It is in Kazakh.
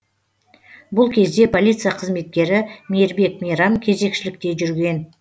бұл кезде полиция қызметкері мейірбек мейрам кезекшілікте жүрген